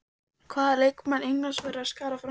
Hvaða leikmann Englands verða að skara fram úr?